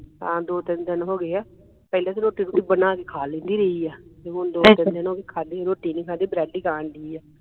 ਹਾਂ ਦੋ ਤਿੰਨ ਦਿਨ ਹੋ ਗਏ ਆ ਪਹਿਲੇ ਤੇ ਰੋਟੀ ਬਣਾ ਕੇ ਖਾ ਲੈਂਦੀ ਰਹੀ ਆ ਤੇ ਹੁਣ ਦੋ ਦਿਨ ਹੋ ਗਏ ਖਾਦੀ ਨਹੀਂ ਰੋਟੀ ਨਹੀਂ ਖਾਦੀ ਬ੍ਰੈਡ ਹੀ ਖਾਣ ਢਈ ਆ